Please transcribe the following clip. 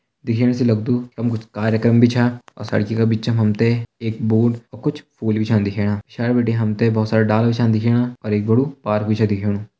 दिखेण से लगदु यमु कुछ कार्यक्रम भी छा और सड़की का बिचा हम त एक बोर्ड और कुछ फूल भी छा दिखेणा। पिछाड़ी बिटि हम त बहोत सारा डाला भी छा दिखेणा और एक बाड़ू पार्क भी छ दिखेणु।